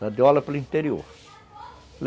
Ela deu aula pelo interior.